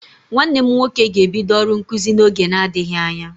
Nwanne m nwoke ga-ebido ọrụ nkụzi n'oge na-adịghị anya.